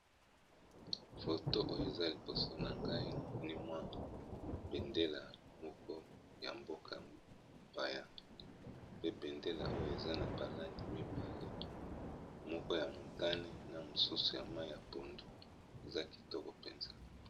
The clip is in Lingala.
foto oyo eza liboso na ngai na mnimwa bendela moko ya mbokapaya pe bendela oyo eza na balandi mibale moko ya montane na mosusu ya mai ya pondu eza kitoko mpenza